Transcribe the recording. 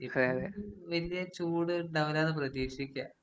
ഇനീപ്പെ വല്യ ചൂട് ഇണ്ടാവൂല്ലാന്ന് പ്രതീക്ഷിക്കാം.